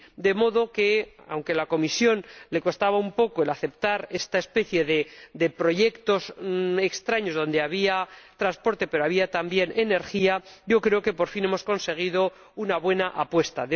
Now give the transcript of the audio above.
De modo que, aunque a la Comisión le costaba un poco aceptar esta especie de proyectos extraños, donde se trataban asuntos de transporte pero también de energía, creo que, por fin, hemos conseguido una buena apuesta.